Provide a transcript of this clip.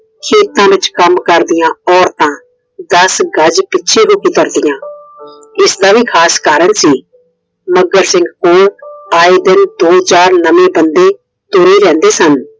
ਖੇਤਾਂ ਵਿਚ ਕੰਮ ਕਰਦੀਆਂ ਔਰਤਾਂ ਦਸ ਗਜ ਪਿੱਛੇ ਹੋ ਕੇ ਕਰ ਦੀਆ। ਇਸ ਦਾ ਵੀ ਖਾਸ ਕਾਰਨ ਸੀ। ਮੱਘਰ ਸਿੰਘ ਕੋਲ ਆਏ ਬੰਦੇ ਦੋ ਚਾਰ ਨਵੇਂ ਬੰਦੇ ਤੁਰੇ ਰਹਿੰਦੇ ਸਨ।